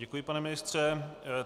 Děkuji, pane ministře.